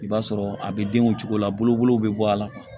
I b'a sɔrɔ a bɛ denw cogo la bolokolu bɛ bɔ a la